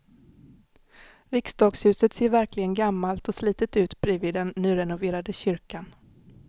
Riksdagshuset ser verkligen gammalt och slitet ut bredvid den nyrenoverade kyrkan.